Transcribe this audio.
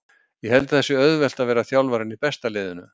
Ég held að það sé auðvelt að vera þjálfarinn í besta liðinu.